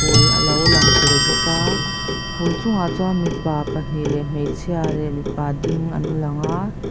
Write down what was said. hul alo lang tel bawka phul chungah chuan mipa pahnih leh hmeichhia leh mipa ding an langa.